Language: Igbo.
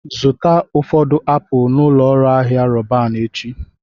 Zụta ụfọdụ apụl n'ụlọ ahịa Roban echi